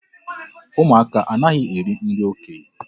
Ụmụaka anaghị eri nri okenye.